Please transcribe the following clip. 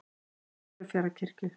Siglufjarðarkirkju